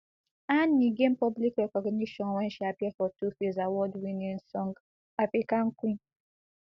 annie gain public recognition wen she appear for tuface award winning song african queen